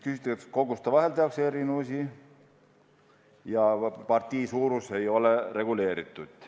Uuriti, kas koguste järgi tehakse erinevusi ja kas partii suurus ei ole reguleeritud.